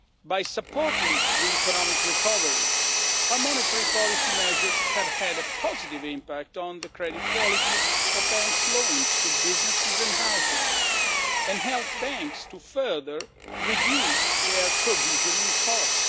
By supporting the economic recovery, our monetary policy measures have had a positive impact on the credit quality of banks' loans to businesses and households, and have helped banks further to reduce their provisioning costs.